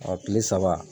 kile saba